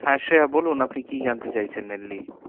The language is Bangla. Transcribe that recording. হ্যাঁ শ্রেয়া বলুন, আপনি কি জানতে চাইছেন mainly?